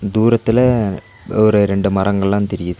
தூரத்துல ஒரு ரெண்டு மரங்கல்லா தெரியிது.